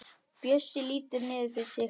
Bjössi lítur niður fyrir sig.